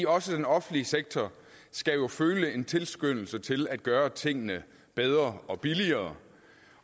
også den offentlige sektor skal føle en tilskyndelse til at gøre tingene bedre og billigere